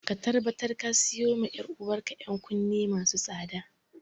Ka tabbatar ka siyo wa ‘yar’uwar ka ‘yan kunne masu tsada.